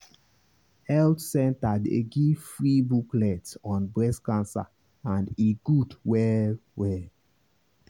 health center dey give free booklet on breast cancer and e good well well.